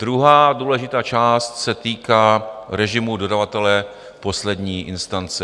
Druhá důležitá část se týká režimu dodavatele poslední instance.